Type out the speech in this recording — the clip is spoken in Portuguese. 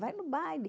Vá no baile.